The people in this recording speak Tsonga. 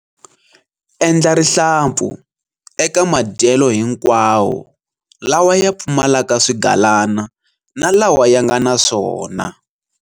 Endla rihlampfu eka madyelo hinkwawo lawa ya pfumalaka swigalana na lawa ya nga na swona.